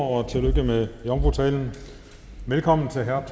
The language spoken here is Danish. og tillykke med jomfrutalen velkommen til herre